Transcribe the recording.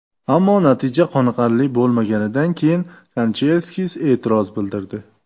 Ammo natija qoniqarli bo‘lmaganidan keyin Kanchelskis e’tiroz bildirdi.